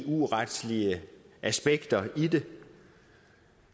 eu retlige aspekter i det